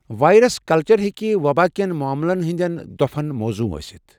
Virus culture ہیٚكہِ وباہ كٮ۪ن معملن ہندٮ۪ن دوپھن موضوں ٲسِتھ ۔